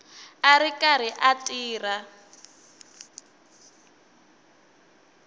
a ri karhi a tirha